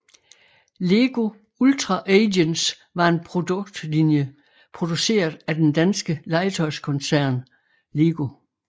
Lego Ultra Agents var en produktlinje produceret af den danske legetøjskoncern LEGO